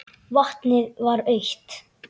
Vatnið var autt.